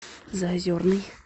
заозерный